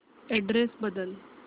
address बदल